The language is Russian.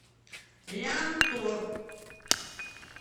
лянтор